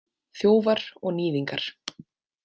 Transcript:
Þjófar og níðingar.